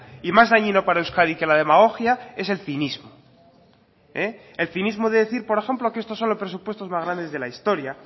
y más dañino para euskadi que la demagogia es el cinismo el cinismo de decir por ejemplo que estos son los presupuestos más grandes de la historia